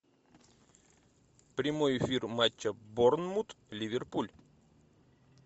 прямой эфир матча борнмут ливерпуль